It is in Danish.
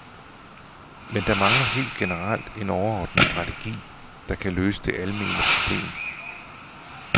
Men der mangler helt generelt en overordnet strategi, der kan løse det almene problem.